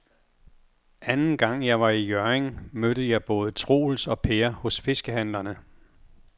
Anden gang jeg var i Hjørring, mødte jeg både Troels og Per hos fiskehandlerne.